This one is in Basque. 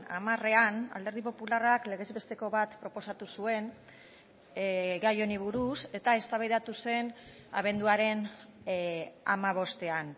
hamarean alderdi popularrak legez besteko bat proposatu zuen gai honi buruz eta eztabaidatu zen abenduaren hamabostean